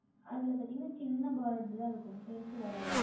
அதில் பார்த்தீர்கள் என்றால் சிறிய Border தான் இருக்கும் பெரியது வராது